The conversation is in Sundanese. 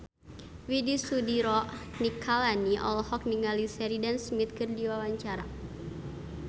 Widy Soediro Nichlany olohok ningali Sheridan Smith keur diwawancara